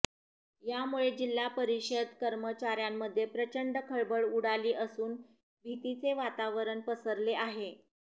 यामुळे जिल्हा परिषद कर्मचाऱ्यांमध्ये प्रचंड खळबळ उडाली असून भीतीचे वातावरण पसरले आहे